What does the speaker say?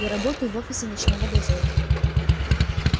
я работаю в офисе ночного дозора